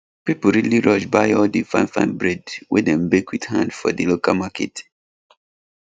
people really rush buy all the fine fine bread wey dem bake with hand for di local market